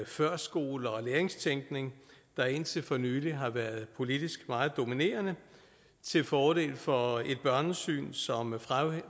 førskole og læringstænkning der indtil for nylig har været politisk meget dominerende til fordel for et børnesyn som